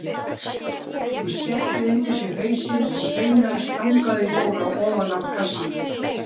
Hún setti undir sig hausinn og hreinlega stangaði Dóra ofan af kassanum.